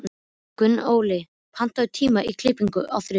Gunnóli, pantaðu tíma í klippingu á þriðjudaginn.